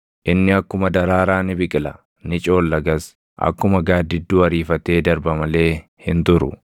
Inni akkuma daraaraa ni biqila; ni coollagas; akkuma gaaddidduu ariifatee darba malee hin turu.